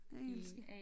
Engelske